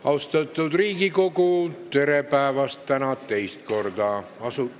Austatud Riigikogu, tere päevast täna teist korda!